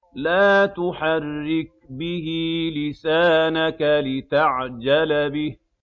لَا تُحَرِّكْ بِهِ لِسَانَكَ لِتَعْجَلَ بِهِ